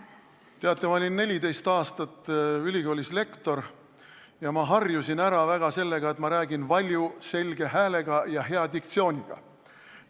Teate, ma olin 14 aastat ülikoolis lektor ja harjusin ära sellega, et ma räägin valju selge häälega ja hea diktsiooniga.